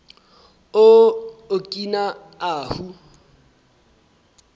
o okina ahu